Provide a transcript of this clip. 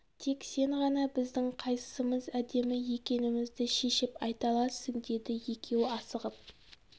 тек сен ғана біздің қайсысымыз әдемі екенімізді шешіп айта аласың дейді екеуі асығып